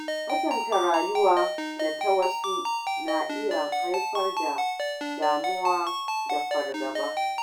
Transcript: Kwatanta rayuwa da ta wasu na iya haifar da damuwa da fargaba.